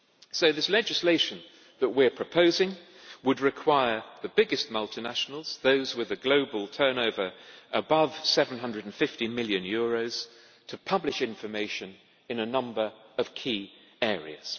So this legislation that we are proposing would require the biggest multinationals those with a global turnover above EUR 750 million to publish information in a number of key areas.